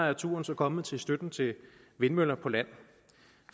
er turen så kommet til støtten til vindmøller på land